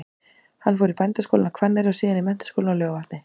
Hann fór í Bændaskólann á Hvanneyri og síðan í Menntaskólann á Laugarvatni.